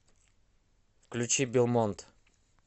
включи белмонд